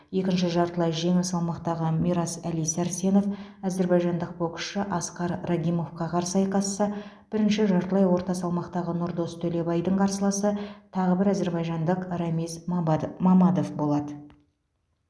екінші жартылай жеңіл салмақтағы мирас әли сәрсенов әзербайжандық боксшы аскар рагимовқа қарсы айқасса бірінші жартылай орта салмақтағы нұрдос төлебайдың қарсыласы тағы бір әзербайжандық рамиз мабадов мамадов болады